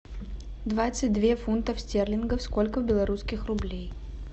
двадцать две фунтов стерлингов сколько белорусских рублей